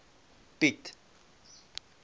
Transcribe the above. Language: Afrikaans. piet